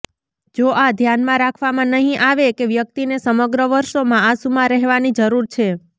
જો આ ધ્યાનમાં રાખવામાં નહીં આવે કે વ્યક્તિને સમગ્ર વર્ષોમાં આંસુમાં રહેવાની જરૂર છે